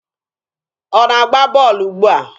Ọ na-agba bọọlụ ugbua?